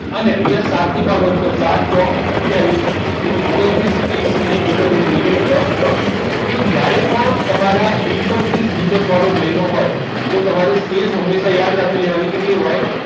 અહીંયા અને સાતથી ભાગો તો સાત ચોક આથીયાવીસ તો ઓગન્તૃસ ત્રીસ અને એકત્રીસ એટલે કે plus ત્રણ જ્યારે પણ તમારા એકત્રીસ દિવસ વાળો મહિનો હોય તો તમારે શેષ હંમેશા યાદ રાખી લેવાના હોય કેટલી હોય